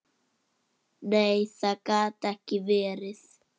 Nei, það gat ekki verið.